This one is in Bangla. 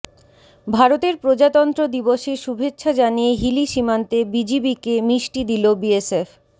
ভারতের প্রজাতন্ত্র দিবসের শুভেচ্ছা জানিয়ে হিলি সীমান্তে বিজিবিকে মিষ্টি দিল বিএসএফ